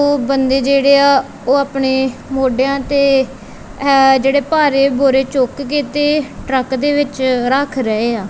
ਉਹ ਬੰਦੇ ਜਿਹੜੇ ਆ ਓਹ ਆਪਣੇ ਮੋਹਡੇਆਂ ਤੇ ਇਹ ਜਿਹੜੇ ਭਾਰੇ ਬੋਰੇ ਚੁੱਕ ਕੇ ਤੇ ਟਰੱਕ ਦੇ ਵਿੱਚ ਰੱਖ ਰਹੇ ਆ।